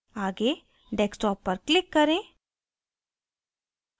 आगे desktop पर click करें